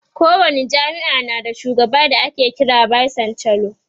ko wani jami'a na da shugaba da ake kira da vice chancellor